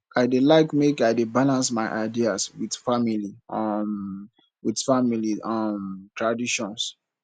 i dey like make i dey balance my ideas with family um with family um traditions